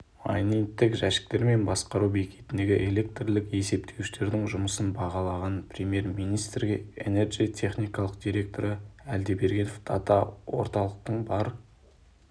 майнингтік жәшіктер мен басқару бекетіндегі электрлік есептеуіштердің жұмысын бағалаған премьер-министрге энерджи техникалық директоры әлдебергенов дата-орталықтың бар